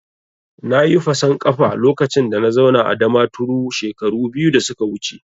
Nayi fason kafa lokacin da na zauna a Damaturu shekaru biyu da suka wuce